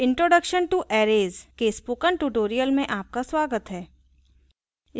introduction to arrays के spoken tutorial में आपका स्वागत है